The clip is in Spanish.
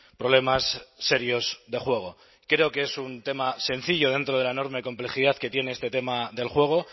problemas serios de juego creo que es un tema sencillo dentro de la enorme complejidad que tiene este tema del juego